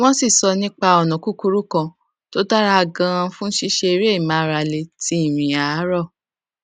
wón sì sọ nípa ònà kúkúrú kan tó dára ganan fún ṣíṣe eré ìmáralé ti ìrìn àárọ